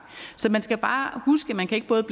så man skal bare huske at man ikke både